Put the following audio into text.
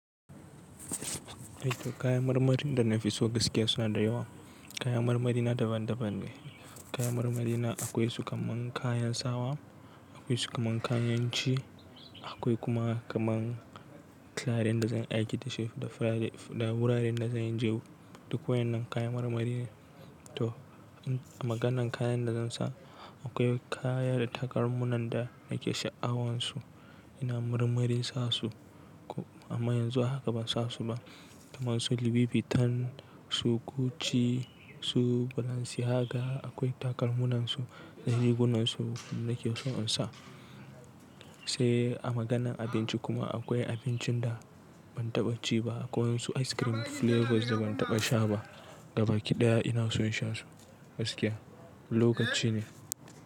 Kayan marmarin da na fi so gaskiya suna da yawa. Kaya marmari na daban-daban ne. Kaya marmari na akwai su kamar kayan sawa, akwai su kamar kayan ci, akwai kuma kamar clarin da zan aiki da shi da firade, da wuraren da zan je. Duk waɗannan kaya marmari ne. To a maganan kayan da zan sa akwai kaya da takalman da nake sha'awansu ina murmure sa su amma yanzu haka ban sa su ba kamar su Louis Vuitton, su Gucci, su Balenciaga. Akwai takalman su da rigunan su nake so in sa. Sai a maganan abinci kuma akwai abincin da ban taɓa ci ba kamar su ice cream flavors da ban taɓa sha ba gaba ɗaya ina so in sha su gaskiya. Lokaci ne.